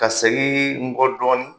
Ka segin n kɔ dɔɔnin